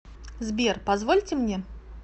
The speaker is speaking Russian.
сбер позвольте мне